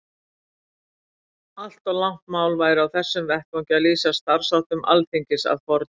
Allt of langt mál væri á þessum vettvangi að lýsa starfsháttum Alþingis að fornu.